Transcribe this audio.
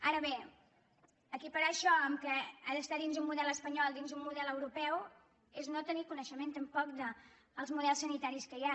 ara bé equiparar això amb el fet que ha d’estar dins un model espanyol dins un model europeu és no tenir coneixement tampoc dels models sanitaris que hi ha